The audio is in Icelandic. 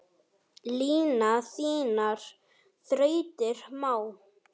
Lina þínar þrautir má.